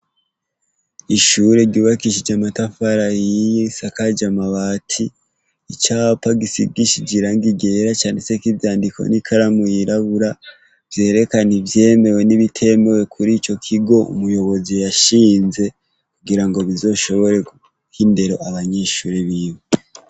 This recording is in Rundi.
Ishure ryubakishije amatafari ahiye risakaje amabati, icapa gisigishije irangi ryera canditse ko ivyandi vyandikishije ivyandiko n'ikaramu y'irabura, vyerekana ivyemewe n'ibitemewe kuri ico kigo, umuyobozi yashinze kugirango bizoshobore guha indero abanyeshure biwe.